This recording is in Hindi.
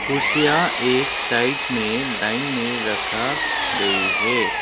कुर्सियां एक साइड में लाइन में रखा गई है।